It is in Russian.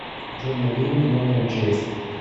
джой набери мне номер мчс